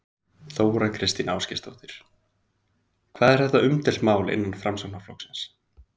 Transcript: Þóra Kristín Ásgeirsdóttir: Hvað er þetta umdeilt mál innan Framsóknarflokksins?